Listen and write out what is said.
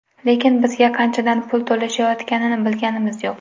Lekin bizga qanchadan pul to‘lashayotganini bilganimiz yo‘q.